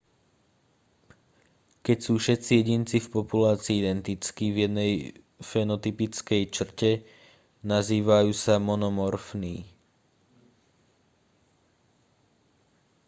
keď sú všetci jedinci v populácii identickí v jednej fenotypickej črte nazývajú sa monomorfní